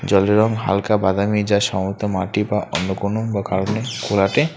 জলটির রং হালকা বাদামী যা সামর্থ্য মাটি বা অন্য কোনো বা কারণে ঘোলাটে।